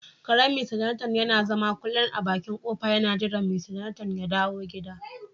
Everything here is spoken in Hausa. Karen "mr Jonathan " yana zama kullun a bakin kofa yana jiran" mr Jonathan " ya dawo gida.